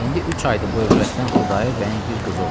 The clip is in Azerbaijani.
İndi üç aydır bu övrətdən Xudayar bəyin bir qızı olubdur.